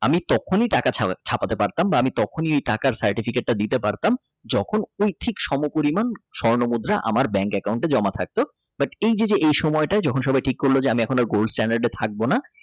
আমি তখনই টাকা ছাপাতে পারতাম বা তখন টাকা Certificate টা দিতে পারতাম যখন ওই থেকে সমপরিমাণ স্বর্ণমুদ্রা আমার Bank account টে জমা থাকতো বাট এই যে যে এ সময়টা যখন সময় ঠিক করল যে আমি আর Gold stand থাকবো না।